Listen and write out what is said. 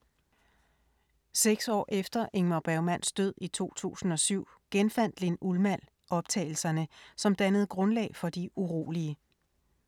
Seks år efter Ingmar Bergmanns død i 2007 genfandt Linn Ullmann optagelserne, som dannede grundlag for De urolige.